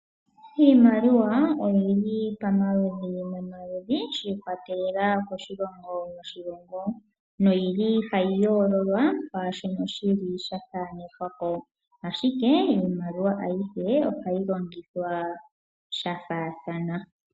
Iimaliwa oyili pamaludhi momaludhi shiikwatelela koshilongo noshilongo, noyili hayi yoololwa kwaashono shili sha thanekwako, ashike iimaliwa ayihe ohayi longithwa sha faathana.